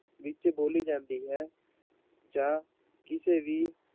ਵਿੱਚ ਬੋਲੀ ਜਾਂਦੀ ਹੈ, ਜਾਂ ਕਿਸੇ ਵੀ